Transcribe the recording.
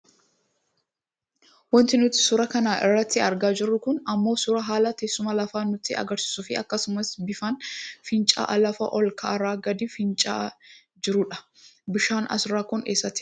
Wanti nuti suuraa kana irratti argaa jirru kun ammoo suuraa haala teessuma lafaa nutti agarsiisu fi akkasumas bifaan fincaa'aa lafa ol ka'aarra gad fincaa'aa jirudha. Bifaan asirraa kun eessatti argama?